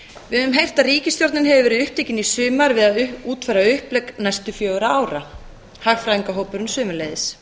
við höfum heyrt að ríkisstjórnin hefur verið upptekin í sumar við að útfæra upplegg næstu fjögurra ára hagræðingarhópurinn sömuleiðis